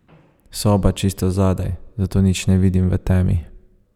Soba čisto zadaj, zato nič ne vidim v temi.